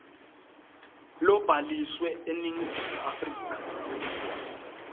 lobhaliswe eningizimu afrika